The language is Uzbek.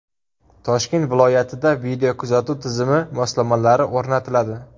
Toshkent viloyatida videokuzatuv tizimi moslamalari o‘rnatiladi.